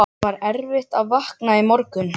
Það var erfitt að vakna í morgun.